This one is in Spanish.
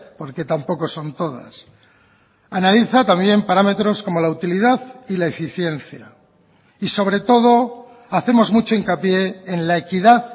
porque tampoco son todas analiza también parámetros como la utilidad y la eficiencia y sobre todo hacemos mucho hincapié en la equidad